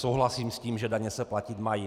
Souhlasím s tím, že daně se platit mají.